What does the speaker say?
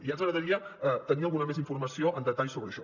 ja ens agradaria tenir alguna informació més en detall sobre això